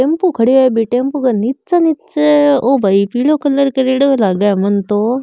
टेंपो खड़ो है बि टेंपो के नीच ओ भाई पिल कलर करेड़ों लाग मन तो।